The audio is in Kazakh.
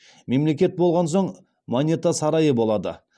мемлекет болған соң монета сарайы болады